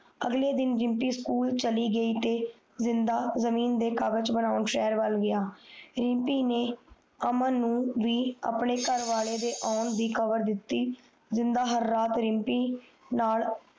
ਅਗਲੇ ਦਿਨ ਰਿਮਪੀ ਸਕੂਲ ਚਲੀ ਗਯੀ ਤੇ ਜਿੰਦ ਜਮੀਨ ਦੇ ਕਾਗਜ ਬੰਨਣ ਸ਼ਹਰ ਵੱਲ ਗਯਾ ਰਿਪਮੀ ਨੇ ਅਮਨ ਨੂੰ ਬੀ ਆਪਣੇ ਕਾਰਵਾਲੇ ਆਉਣ ਦੀ ਖ਼ਮਰ ਦਿਤੀ ਜਿੰਨਦਾ ਹਰ ਰਾਤ ਰਿਮਪੀ ਨਾਲ